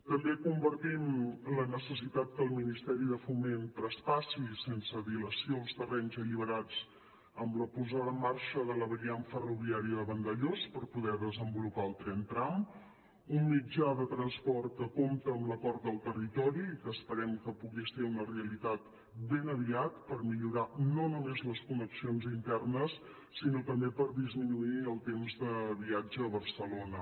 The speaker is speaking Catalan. també compartim la necessitat que el ministeri de foment traspassi sense dilació els terrenys alliberats amb la posada en marxa de la variant ferroviària de vandellòs per poder desenvolupar el tren tram un mitjà de transport que compta amb l’acord del territori i que esperem que pugui ser una realitat ben aviat per millorar no només les connexions internes sinó també per disminuir el temps de viatge a barcelona